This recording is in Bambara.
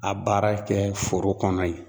a baara kɛ foro kɔnɔ yen.